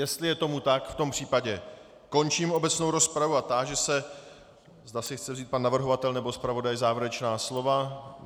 Jestli je tomu tak, v tom případě končím obecnou rozpravu a táži se, zda si chce vzít pan navrhovatel nebo zpravodaj závěrečná slova.